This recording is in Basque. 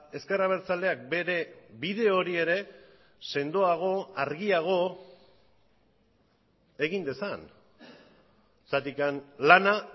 ezker abertzaleak bere bide hori ere sendoago argiago egin dezan zergatik lana